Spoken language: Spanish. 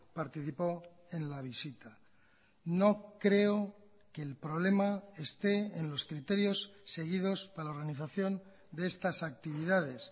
participó en la visita no creo que el problema esté en los criterios seguidos para la organización de estas actividades